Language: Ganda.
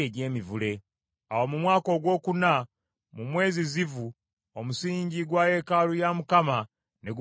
Awo mu mwaka ogwokuna, mu mwezi Zivu omusingi gwa yeekaalu ya Mukama ne gumalirizibwa.